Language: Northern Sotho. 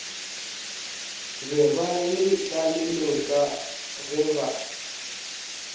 be ba letlalelong ka geba